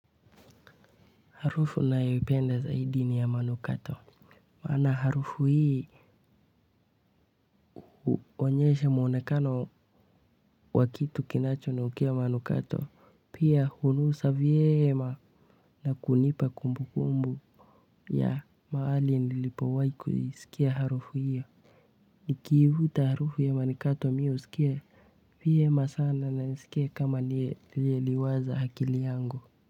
Harufu nayoipenda zaidi ni ya manukato. Msana harufu hii wa onyesha mwonekano wa kitu kinacho nukia manukato. Pia hunusa vyema na kunipa kumbu kumbu. Ya mahali nilipowai kuisikia harufu hiyo. Nikiivuta harufu ya manukato mimi husikia vyema sana na nisikia kama liye liwaza akili yangu.